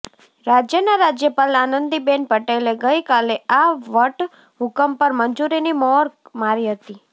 રાજ્યનાં રાજ્યપાલ આનંદીબેન પટેલે ગઈ કાલે આ વટહૂકમ પર મંજૂરીની મ્હોર મારી હતી